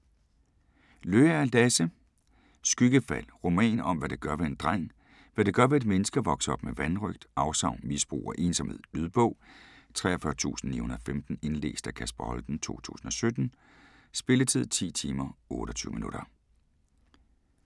Løager, Lasse: Skyggefald Roman om hvad det gør ved en dreng, hvad det gør ved et menneske at vokse op med vanrøgt, afsavn, misbrug og ensomhed. Lydbog 43915 Indlæst af Kasper Holten, 2017. Spilletid: 10 timer, 28 minutter.